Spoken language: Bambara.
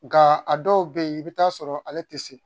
Nka a dɔw bɛ yen i bɛ t'a sɔrɔ ale tɛ se